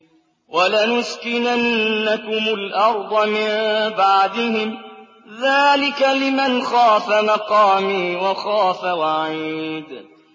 وَلَنُسْكِنَنَّكُمُ الْأَرْضَ مِن بَعْدِهِمْ ۚ ذَٰلِكَ لِمَنْ خَافَ مَقَامِي وَخَافَ وَعِيدِ